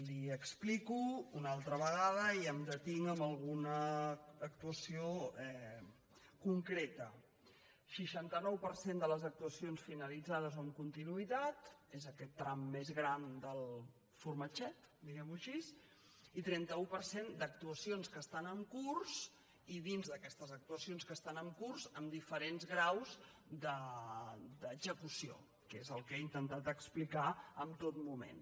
li ho explico una altra vegada i em detinc en alguna actuació concreta seixanta nou per cent de les actuacions finalitzades o amb continuïtat és aquest tram més gran del formatget diguemho així i trenta un per cent d’actuacions que estan en curs i dins d’aquestes actuacions que estan en curs amb diferents graus d’execució que és el que he intentat explicar en tot moment